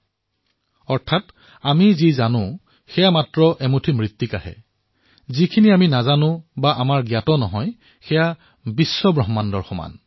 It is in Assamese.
ইয়াৰ অৰ্থ হল যে আমি যি জানো সেয়া মাত্ৰ বালিকণাৰ সমান আৰু আমি যি নাজানো সেয়া সম্পূৰ্ণ ব্ৰহ্মাণ্ডৰ সমান